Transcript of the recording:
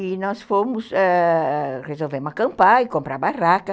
E nós fomos, ãh resolvemos acampar e comprar barraca.